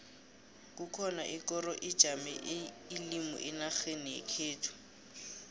kukhona ikoro ijame ilimi enarheni yekhethu